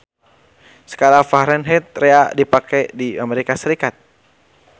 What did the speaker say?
Skala Fahrenheit rea dipake di Amerika Serikat.